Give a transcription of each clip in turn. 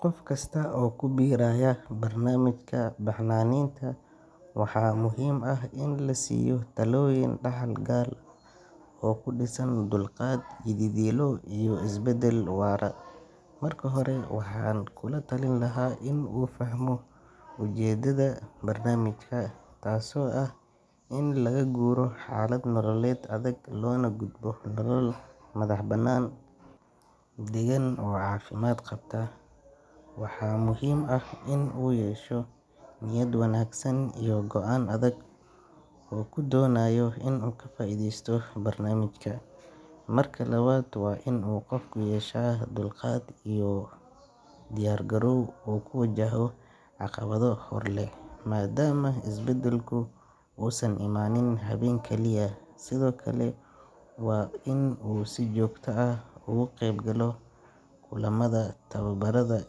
Qof kasta oo ku biiraya barnaamijka baxnaaninta, waxaa muhiim ah in la siiyo talooyin dhaxal gal ah oo ku dhisan dulqaad, yididiilo iyo isbeddel waara. Marka hore, waxaan kula talin lahaa inuu fahmo ujeedada barnaamijka, taasoo ah in laga guuro xaalad nololeed adag loona gudbo nolol madaxbannaan, deggan oo caafimaad qabta. Waxaa muhiim ah inuu yeesho niyad wanaagsan iyo go’aan adag oo uu ku doonayo inuu ka faa’iideysto barnaamijka. Marka labaad, waa inuu qofku yeeshaa dulqaad iyo u diyaargarow uu ku wajaho caqabado hor leh, maadaama isbeddelku uusan imaanin habeen kaliya. Sidoo kale, waa in uu si joogto ah uga qaybgalo kulamada, tababarada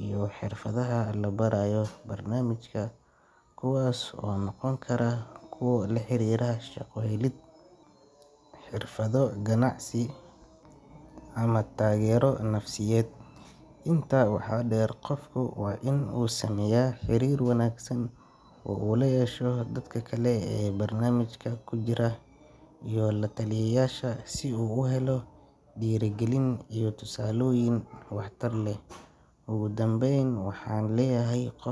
iyo xirfadaha la barayo barnaamijka, kuwaas oo noqon kara kuwo la xiriira shaqo helid, xirfado ganacsi ama taageero nafsiyeed. Intaa waxaa dheer, qofku waa inuu sameeyaa xiriir wanaagsan oo uu la yeesho dadka kale ee barnaamijka ku jira iyo la-taliyeyaasha, si uu u helo dhiirrigelin iyo tusaalooyin waxtar leh. Ugu dambayn, waxaan leeyahay qof.